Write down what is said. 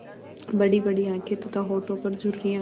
बड़ीबड़ी आँखें तथा होठों पर झुर्रियाँ